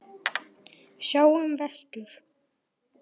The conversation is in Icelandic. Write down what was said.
Sjáum vestur.